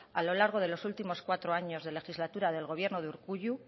a lo largo de los últimos cuatro años de legislatura del gobierno de urkullu